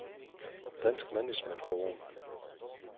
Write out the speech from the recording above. Dansk Management Forum